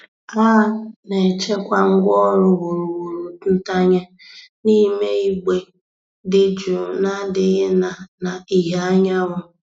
A na-echekwa ngwaọrụ wuruwuru ntanye n'ime igbe dị jụụ na-adịghị na na ìhè anyanwụ.